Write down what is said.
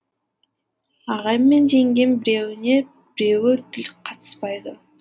ағайым мен жеңгем біреуіне біреуі тіл қатыспайды